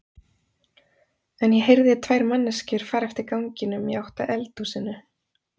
En ég heyrði tvær manneskjur fara eftir ganginum í átt að eldhúsinu.